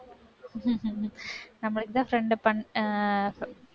நம்மளுக்குத்தான் friend பண்~ அஹ்